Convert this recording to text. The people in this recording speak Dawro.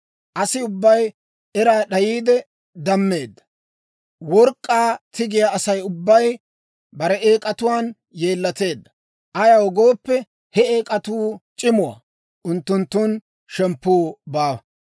Asi ubbay era d'ayiide dammeedda; work'k'aa tigiyaa Asay ubbay bare eek'atuwaan yeellateedda. Ayaw gooppe, he eek'atuu c'imuwaa; unttunttun shemppuu baawa.